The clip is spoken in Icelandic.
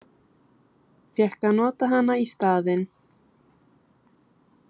Fékk að nota hann í staðinn.